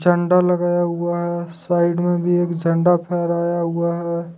झंडा लगाया हुआ है साइड में भी एक झंडा फहराया हुआ है।